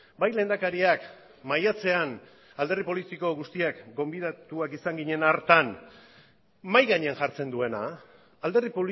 bai lehendakariak maiatzean alderdi politiko guztiak gonbidatuak izan ginen hartan mahai gainean jartzen duena alderdi